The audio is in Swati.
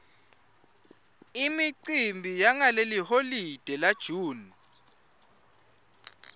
imicimbi yangeliholide la june